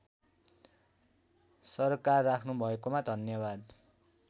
सरोकार राख्नुभएकोमा धन्यवाद